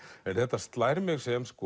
en þetta slær mig sem